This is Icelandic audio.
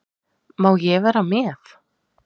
Má ég vera með?